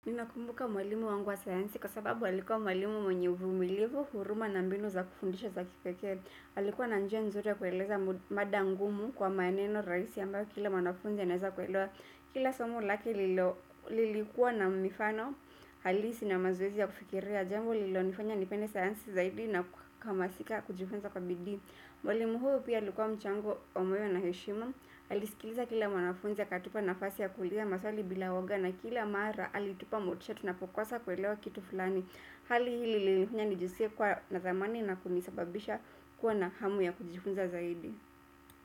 Ninakumbuka mwalimu wangu wa sayansi kwa sababu alikuwa mwalimu mwenye uvumilivu, huruma na mbinu za kufundisha za kipekee. Alikuwa na njia nzuri ya kueleza mada ngumu kwa maneno rahisi ambayo kila mwanafunzi anaeza kuelewa. Kila somo lake lilikuwa na mifano, halisi na mazoezi ya kufikiria. Jambo lilo nifanya nipende sayansi zaidi na kuhamasika kujifunza kwa bidii. Mwalimu huyu pia likuwa mchango wa moyo na heshima, alisikiliza kila wanafunzi akatupa nafasi ya kuliza maswali bila uoga na kila mara alitupa motisha tunapokosa kuelewa kitu fulani. Hali hii ilinifanya nijiskie kuwa na thamani na kunisababisha kuwa na hamu ya kujifunza zaidi.